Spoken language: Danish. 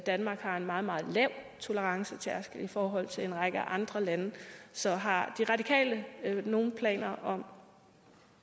danmark har en meget meget lav tolerancetærskel i forhold til en række andre lande så har de radikale nogen planer om